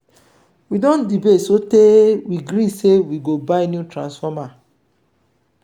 we don debate sotee we gree sey we go buy new transformer.